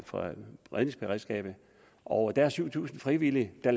for redningsberedskabet og der er syv tusind frivillige der